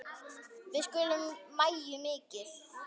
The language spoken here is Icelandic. Við söknum Maju mikið.